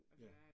Ja